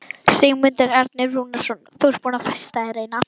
Sigmundur Ernir Rúnarsson: Þú ert búin að festa þér eina?